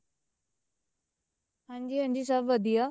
ਹਾਂਜੀ ਹਾਂਜੀ ਸਭ ਵਧੀਆ